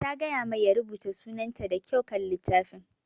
Ta gaya mai ya rubuta sunar ta da kyau kan littafin